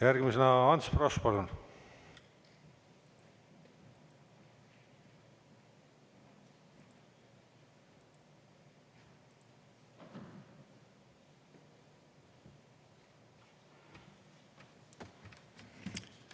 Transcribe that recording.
Järgmisena Ants Frosch, palun!